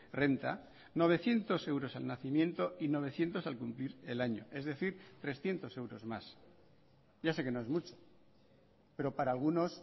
renta novecientos euros al nacimiento y novecientos al cumplir el año es decir trescientos euros más ya sé que no es mucho pero para algunos